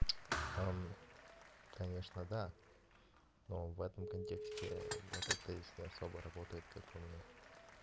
конечно да но в этом контексте это то есть не особо работает как по мне